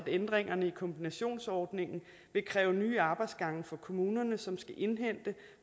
ændringerne i kombinationsordningen vil kræve nye arbejdsgange for kommunerne som skal indhente